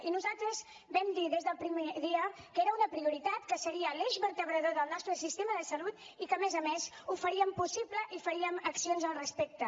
i nosaltres vam dir des del primer dia que era una prioritat que seria l’eix vertebrador del nostre sistema de salut i que a més a més ho faríem possible i faríem accions al respecte